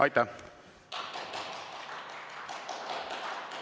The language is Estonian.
Aitäh!